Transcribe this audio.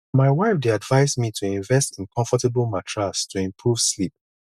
my wife dey advise me to invest in comfortable mattress to improve sleep